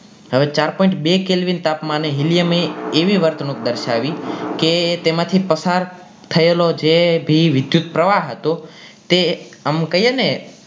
હવે ચાર point બે calvin તાપમાને helium એ એવી વર્તણુક દર્શાવી કે તેમાં થી પસાર થયેલો જે બી વિદ્યુતપ્રવાહ હતો એ આમ કહીએ કે